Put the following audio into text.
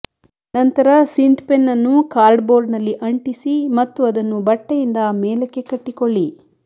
ನಂತರ ಸಿಂಟ್ಪೆನ್ ಅನ್ನು ಕಾರ್ಡ್ಬೋರ್ಡ್ನಲ್ಲಿ ಅಂಟಿಸಿ ಮತ್ತು ಅದನ್ನು ಬಟ್ಟೆಯಿಂದ ಮೇಲಕ್ಕೆ ಕಟ್ಟಿಕೊಳ್ಳಿ